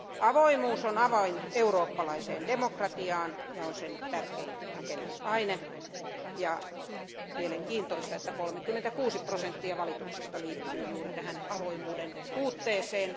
Avoimuus on avain eurooppalaiseen demokratiaan ja on sen tärkein rakennusaine, ja mielenkiintoista, että 36 prosenttia valituksista liittyy juuri tähän avoimuuden puutteeseen.